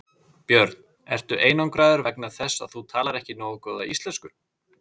Björn: Ertu einangraður vegna þess að þú talar ekki nógu góða íslensku?